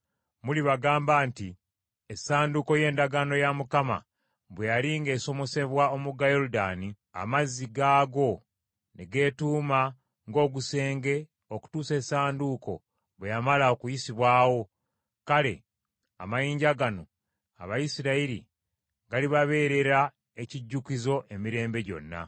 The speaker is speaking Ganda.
mulibagamba nti essanduuko y’Endagaano ya Mukama bwe yali ng’esomosebwa omugga Yoludaani, amazzi gaagwo ne geetuuma ng’ogusenge okutuusa Essanduuko bwe yamala okuyisibwawo. Kale amayinja gano, Abayisirayiri galibabeerera ekijjukizo emirembe gyonna.”